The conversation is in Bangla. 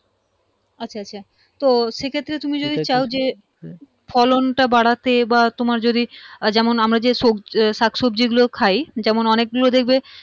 আচ্ছা আচ্ছা তো সেক্ষেত্রে তুমি যদি চাও যে ফলনটা বাড়াতে বা তোমার যদি যেমন আমরা যে সবজি, শাকসব্জি গুলো খাই যেমন অনেকগুলো দেখবে